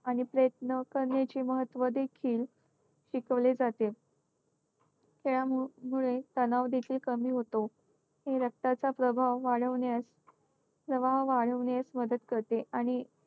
आणि प्रयत्न करण्याची महत्त्व देखील शिकवले जाते. खेळामुळे तनाव देखील कमी होतो. रक्ताचा प्रभाव वाढवण्यास प्रवाह वाढवणेस मदत करते.